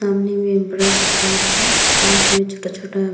सामने में एक बड़ा सा पार्क है। पार्क में छोटा-छोटा --